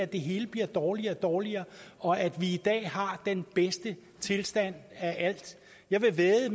det hele bliver dårligere og dårligere og at vi i dag har den bedste tilstand af alt jeg vil vædde